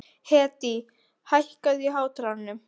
Hedí, hækkaðu í hátalaranum.